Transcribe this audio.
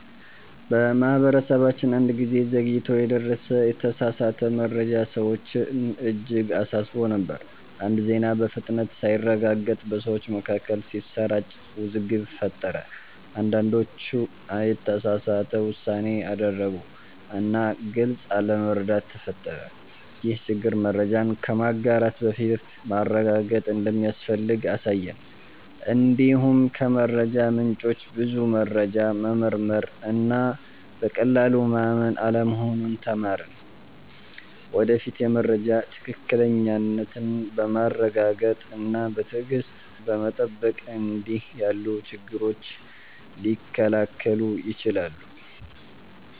በማህበረሰባችን አንድ ጊዜ ዘግይቶ የደረሰ የተሳሳተ መረጃ ሰዎችን እጅግ አሳስቦ ነበር። አንድ ዜና በፍጥነት ሳይረጋገጥ በሰዎች መካከል ሲሰራጭ ውዝግብ ፈጠረ። አንዳንዶች የተሳሳተ ውሳኔ አደረጉ እና ግልጽ አለመረዳት ተፈጠረ። ይህ ችግር መረጃን ከማጋራት በፊት ማረጋገጥ እንደሚያስፈልግ አሳየን። እንዲሁም ከመረጃ ምንጮች ብዙ መረጃ መመርመር እና በቀላሉ ማመን አለመሆኑን ተማርን። ወደፊት የመረጃ ትክክለኛነትን በማረጋገጥ እና በትዕግሥት በመጠበቅ እንዲህ ያሉ ችግሮች ሊከላከሉ ይችላሉ።